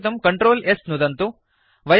रक्षितुं Ctrl s नुदन्तु